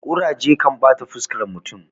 kuraje kan bata fuskar mutum